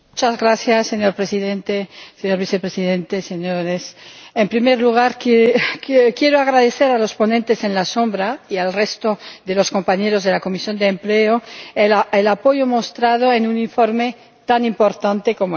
Señor Presidente, señor Vicepresidente, señores, en primer lugar quiero agradecer a los ponentes alternativos y al resto de los compañeros de la Comisión de Empleo el apoyo mostrado en un informe tan importante como este.